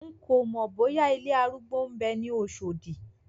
N kòmọ̀ bóyá ilé arúgbó ń bẹ ní Oṣòdì.